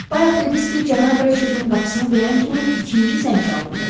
Bayaq dediniz ki, cənab Reçetin qapısını döyən kimi ikinci zəng çalındı.